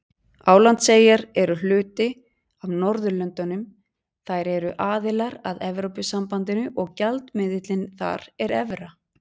Álandseyjar eru hluti af Norðurlöndunum, þær eru aðilar að Evrópusambandinu og gjaldmiðillinn þar er evra.